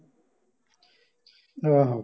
ਆਹੋ